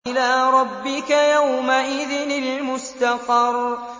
إِلَىٰ رَبِّكَ يَوْمَئِذٍ الْمُسْتَقَرُّ